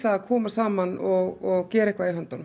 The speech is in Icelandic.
að koma saman og gera eitthvað í höndunum